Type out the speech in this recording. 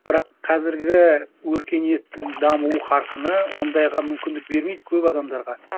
бірақ қазіргі өркениеттің даму қарқыны ондайға мүмкіндік бермейді көп адамдарға